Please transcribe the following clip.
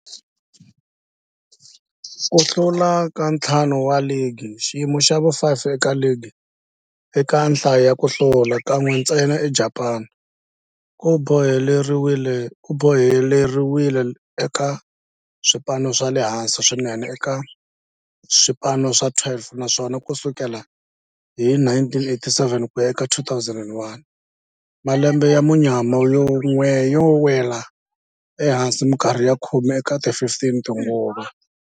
Ku hlula ka ntlhanu wa ligi, xiyimo xa vu-5 eka ligi eka nhlayo ya ku hlula, kan'we ntsena eJapani, ku boheleriwile eka swipano swa le hansi swinene eka swipano swa 12, naswona ku sukela hi 1987 ku ya eka 2001, malembe ya munyama yo nwela ehansi minkarhi ya khume eka 15 tinguva.